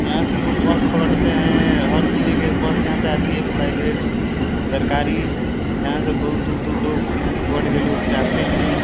यहाँ से लोग बस पकड़ते हैं। हर जिले के बस यहाँ पे आती है। प्राइवेट सरकारी यहाँ से बहुत दूर दूर लोग यहाँ से पकड़ के लोग जाते हैं।